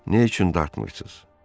Niyə üçün dartmırsız?